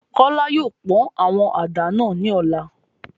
Kola yóò pọn awọn àdá náa ni ọla